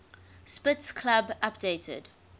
spitz club updated